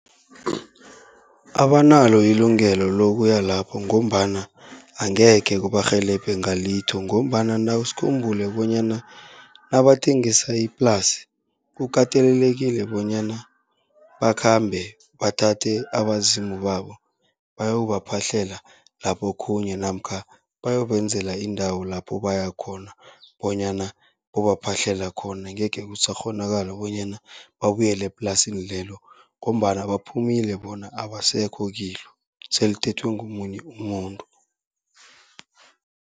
Abanalo ilungelo lokuya lapho, ngombana angekhe kubarhelebhe ngalitho, ngombana sikhumbule bonyana nabathengisa iplasi kukatelelekile bonyana bakhambe bathathe abezimu babo, bayokubaphahlela laphokhunye. Namkha bayobenzela indawo lapho baya khona, bonyana bayobaphahlela khona, angekhe kusakghonakala bonyana babuyele eplasini lelo, ngombana baphumile bona abasekho kilo, selithethwe ngomunye umuntu.